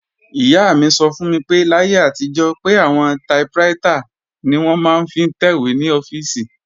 Ìyá mi sọ fún mi pé láyé àtijọ́, pé àwọn taiprítà ni wọ́n máa ń fi ń tẹ̀wé ní ọ́fíìsì